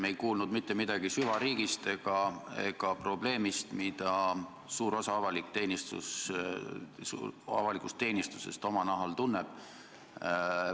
Me ei kuulnud mitte midagi süvariigist ega probleemist, mida suur osa avalikust teenistusest oma nahal tunneb.